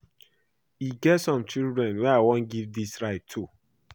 E get some children I wan give dis rice to